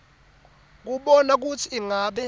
kubona kutsi ingabe